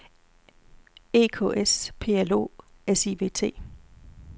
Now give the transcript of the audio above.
E K S P L O S I V T